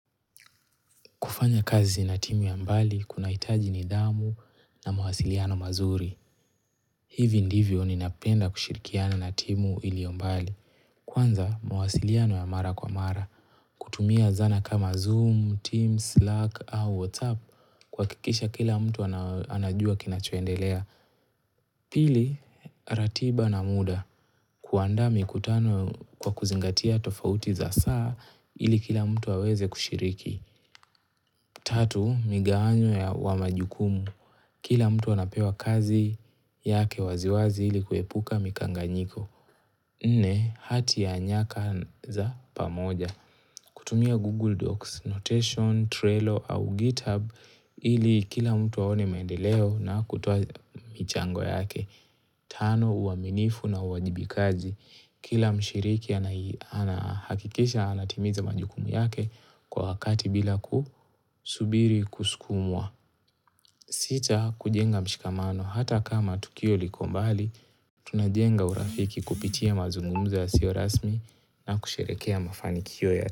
Kufanya kazi na timu ya mbali, kunahitaji nidhamu na mwasiliano mazuri. Hivi ndivyo ninapenda kushirikiana na timu iliyo mbali. Kwanza, mwasiliano ya mara kwa mara. Kutumia zana kama Zoom, Teams, Slack, au WhatsApp, kuhakikisha kila mtu anajua kinachoendelea. Pili, ratiba na muda. Kuandaa mikutano kwa kuzingatia tofauti za saa ili kila mtu aweze kushiriki. Tatu, migawanyo wa majukumu. Kila mtu anapewa kazi yake waziwazi ili kuepuka mikanganyiko. Nne, hati ya nyaka za pamoja. Kutumia Google Docs, Notation, Trello au GitHub ili kila mtu aone maendeleo na kutoa michango yake. Tano, uaminifu na uwajibikaji. Kila mshiriki anahakikisha anatimiza majukumu yake kwa wakati bila kusubiri kusukumwa. Sita kujenga mshikamano hata kama tukio liko mbali, tunajenga urafiki kupitia mazungumzo yasio rasmi na kusherekea mafanikio ya.